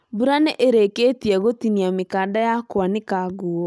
Mbura nĩ ĩrĩkĩtie gũtinia mĩkanda ya kũanika nguo